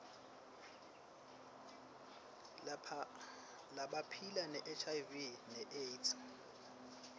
labaphila nehiv neaids